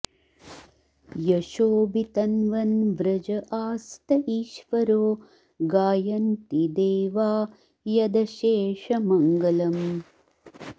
यशो वितन्वन् व्रज आस्त ईश्वरो गायन्ति देवा यदशेषमङ्गलम्